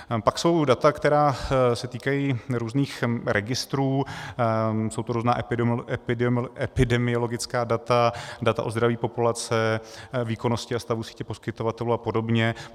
Pak jsou data, která se týkají různých registrů, jsou to různá epidemiologická data, data o zdraví populace, výkonnosti a stavu sítě poskytovatelů a podobně.